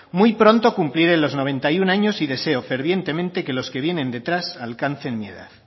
muy pronto cumpliré los noventa y uno años y deseo fervientemente que los que vienen detrás alcancen mi edad